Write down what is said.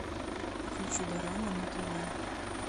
включи дорама на тв